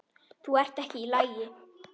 Þú ert ekki í lagi.